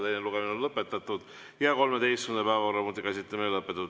Teine lugemine on lõpetatud ja 13. päevakorrapunkti käsitlemine on lõpetatud.